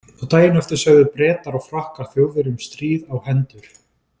Og daginn eftir sögðu Bretar og Frakkar Þjóðverjum stríð á hendur.